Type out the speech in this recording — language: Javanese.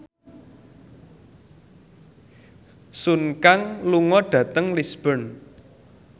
Sun Kang lunga dhateng Lisburn